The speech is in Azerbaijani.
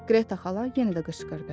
Qreta xala yenə də qışqırdı.